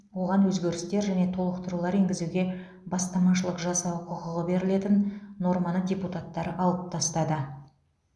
оған өзгерістер және толықтырулар енгізуге бастамашылық жасау құқығы берілетін норманы депутаттар алып тастады